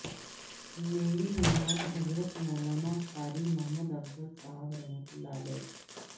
میری مراد حضرت مولانا قاری محمدافضل صاحب رحمت اللہ علیہ